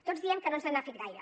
tots diem que no ens n’ha fet gaire